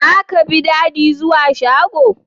Zaka bi Dady zuwa shago?